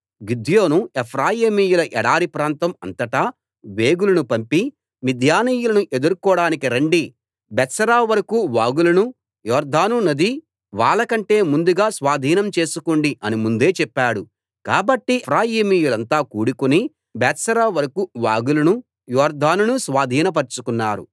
గిద్యోను ఎఫ్రాయిమీయుల ఎడారి ప్రాంతం అంతటా వేగులను పంపి మిద్యానీయులను ఎదుర్కోడానికి రండి బేత్బారా వరకూ వాగులను యొర్దాను నది వాళ్లకంటే ముందుగా స్వాధీనం చేసుకోండి అని ముందే చెప్పాడు కాబట్టి ఎఫ్రాయిమీయులంతా కూడుకుని బేత్బారా వరకూ వాగులను యొర్దానును స్వాధీనపరచుకున్నారు